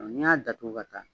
N'i y'a datugu ka taa